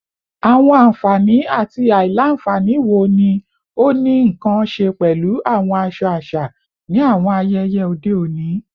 Awọn anfani ati alailanfani wo ni o ni nkan ṣe pẹlu awọn aṣọ aṣa ni awọn ayẹyẹ ode oni?